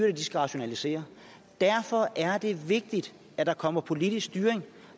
og de skal rationalisere derfor er det vigtigt at der kommer politisk styring